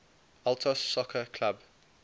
altos soccer club